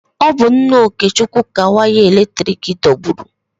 Ọ bụ nna Okechukwu ka waya eletrik dọgburu.